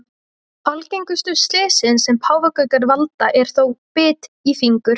Algengustu slysin sem páfagaukar valda eru þó bit í fingur.